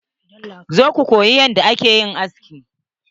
Zo ka koyi yanda ake aski.